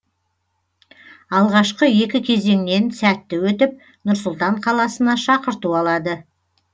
алғашқы екі кезеңнен сәтті өтіп нұр сұлтан қаласына шақырту алады